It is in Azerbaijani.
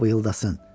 Bıyıldasın.